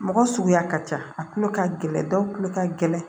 Mɔgɔ suguya ka ca a tulo ka gɛlɛn dɔw tulo ka gɛlɛn